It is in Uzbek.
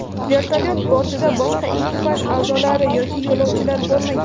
Vertolyot bortida boshqa ekipaj a’zolari yoki yo‘lovchilar bo‘lmagan.